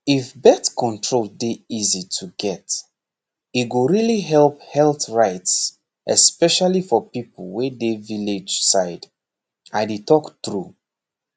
if birth control dey easy to get e go really help health rights especially for people wey dey village side i dey talk true